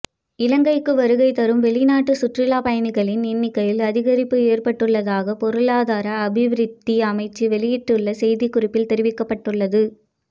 இலங்கைக்கு வருகைதரும் வெளிநாட்டு சுற்றுலா பயணிகளின் எண்ணிக்கையில் அதிகரிப்பு ஏற்பட்டுள்ளதாகப் பொருளாதார அபிவிருத்தி அமைச்சு வெளியிட்டுள்ள செய்திக்குறிப்பில் தெரிவிக்கப்பட்டுள்ளது